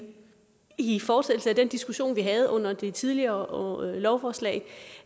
i fortsættelse af den diskussion vi havde under det tidligere lovforslag